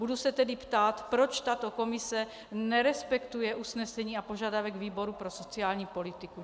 Budu se tedy ptát, proč tato komise nerespektuje usnesení a požadavek výboru pro sociální politiku.